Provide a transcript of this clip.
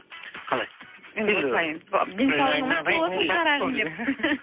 қалай енді осылай